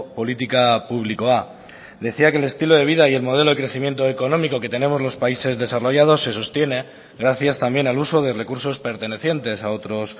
politika publikoa decía que el estilo de vida y el modelo de crecimiento económico que tenemos los países desarrollados se sostiene gracias también al uso de recursos pertenecientes a otros